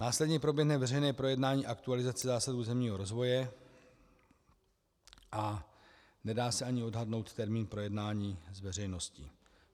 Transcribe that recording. Následně proběhne veřejné projednání aktualizace zásad územního rozvoje a nedá se ani odhadnout termín projednání s veřejností.